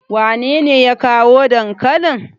wanene ya kawo dankalin?